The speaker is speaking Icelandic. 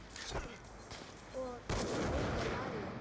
Og í þriðja lagi.